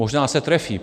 Možná se trefí.